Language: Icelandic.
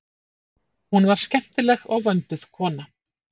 Hún var skemmtileg og vönduð kona.